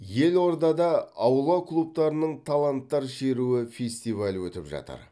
елордада аула клубтарының таланттар шеруі фестивалі өтіп жатыр